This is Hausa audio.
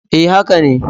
E, haka ne.